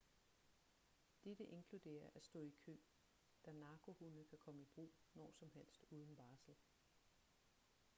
dette inkluderer at stå i kø da narkohunde kan komme i brug når som helst uden varsel